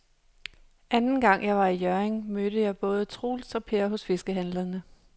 Anden gang jeg var i Hjørring, mødte jeg både Troels og Per hos fiskehandlerne.